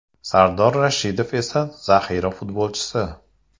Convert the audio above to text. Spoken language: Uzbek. Sardor Rashidov esa zaxira futbolchisi.